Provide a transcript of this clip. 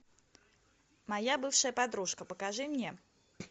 моя бывшая подружка покажи мне